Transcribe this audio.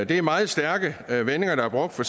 det er meget stærke vendinger der er brugt for